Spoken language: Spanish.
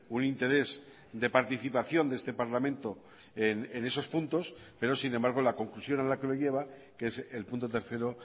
un interés de participación de este parlamento en esos puntos pero sin embargo la conclusión a la que lo lleva que es el punto tercero